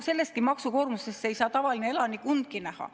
Sellest maksukoormusest ei saa tavaline elanik undki näha.